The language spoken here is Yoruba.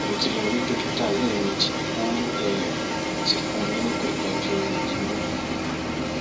mo ti lọ rí dókítà lẹẹmejì ó um sì fún ní oògùn ìtọjú imú